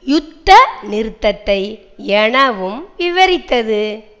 யுத்த நிறுத்தத்தை எனவும் விவரித்தது